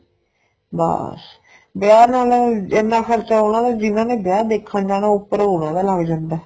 ਬੱਸ ਵਿਆਹ ਨਾਲ ਇੰਨਾ ਖਰਚਾ ਉਹਨਾ ਦਾ ਜਿੰਨਾ ਨੇ ਵਿਆਹ ਦੇਖਣ ਜਾਣਾ ਉਪਰ ਉਹਨਾ ਲੱਗ ਜਾਂਦਾ